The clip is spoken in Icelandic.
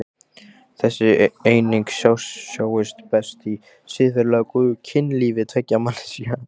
Þessi eining sjáist best í siðferðilega góðu kynlífi tveggja manneskja.